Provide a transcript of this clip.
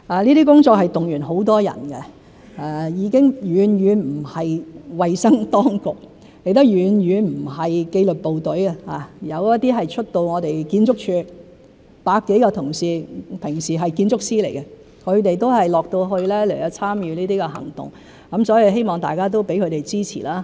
這些工作動員很多人，已經遠遠不只是衞生當局，亦遠遠不只是紀律部隊，有出動到我們建築署百多位同事，他們平日是建築師，亦都到區內參與這些行動，希望大家能給他們支持。